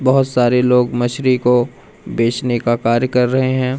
बहोत सारे लोग मछली को बेचने का कार्य कर रहे हैं।